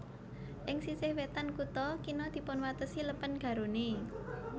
Ing sisih wétan kutha kina dipunwatesi Lèpèn Garonne